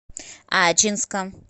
ачинска